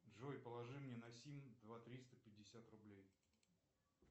джой положи мне на сим два триста пятьдесят рублей